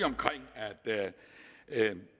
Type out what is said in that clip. at